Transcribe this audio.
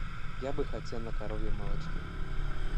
я бы хотел на коровьем молочке